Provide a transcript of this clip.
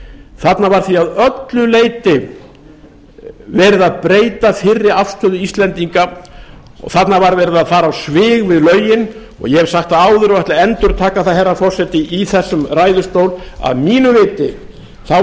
þarna var því að öllu leyti verið að breyta fyrri afstöðu íslendinga og þarna var verið að fara á svig við lögin og ég hef sagt það áður og ætla að endurtaka það herra forseti í þessum ræðustól að að mínu viti var